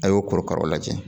A y'o korokaraw lajɛ